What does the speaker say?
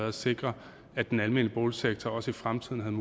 at sikre at den almene boligsektor også i fremtiden